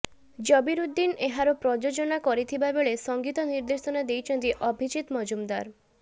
ଜବିରୁଦ୍ଦିନ ଏହାର ପ୍ରଯୋଜନା କରିଥିବାବେଳେ ସଙ୍ଗୀତ ନିର୍ଦ୍ଦେଶନା ଦେଇଛନ୍ତି ଅଭିଜିତ ମଜୁମଦାର